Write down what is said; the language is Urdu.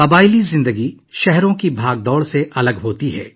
قبائلی زندگی شہروں کی ہلچل سے بہت مختلف ہوتی ہے